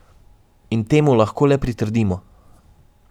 In temu lahko le pritrdimo.